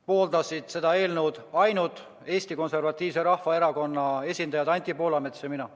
Pooldasid seda eelnõu ainult Eesti Konservatiivse Rahvaerakonna esindajad Anti Poolamets ja mina.